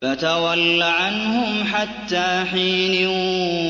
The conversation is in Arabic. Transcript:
فَتَوَلَّ عَنْهُمْ حَتَّىٰ حِينٍ